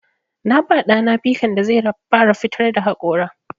Na ba ɗa na pikan da zai fara fitar da haƙora.